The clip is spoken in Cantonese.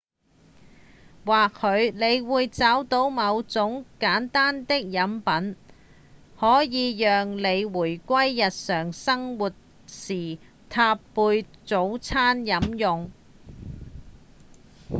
或許你會找到某種簡單的飲品可以讓你在回歸日常生活時搭配早餐飲用